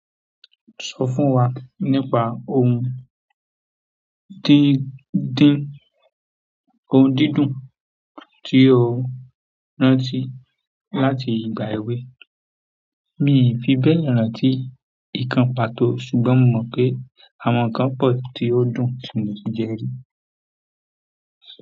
Sọ fún wa nípa ohun tí dín odídùn tí o rántí láti ìgbà èwe. Mi fi bẹ́ẹ̀ rántí ikán pàtó ṣùgbọ́n mo mọ̀ pé àwọn ikán pọ̀ tí ó dùn tí mo ti jẹ́ rí.